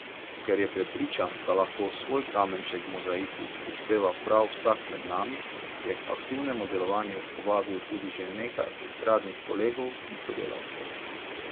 Ker je prepričan, da lahko svoj kamenček v mozaiku prispeva prav vsak med nami, je k aktivnemu delovanju povabil tudi že nekaj estradnih kolegov in sodelavcev.